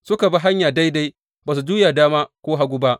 Suka bi hanya daidai, ba su juya dama ko hagu ba.